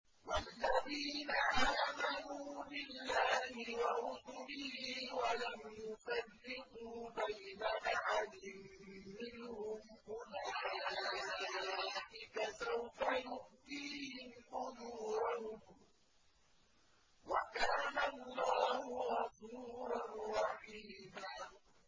وَالَّذِينَ آمَنُوا بِاللَّهِ وَرُسُلِهِ وَلَمْ يُفَرِّقُوا بَيْنَ أَحَدٍ مِّنْهُمْ أُولَٰئِكَ سَوْفَ يُؤْتِيهِمْ أُجُورَهُمْ ۗ وَكَانَ اللَّهُ غَفُورًا رَّحِيمًا